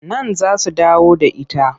Nan za su dawo da ita.